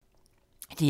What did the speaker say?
DR2